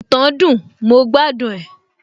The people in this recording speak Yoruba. ìtàn dùn, mo gbádùn ẹ